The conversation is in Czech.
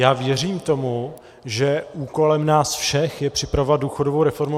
Já věřím tomu, že úkolem nás všech je připravovat důchodovou reformu.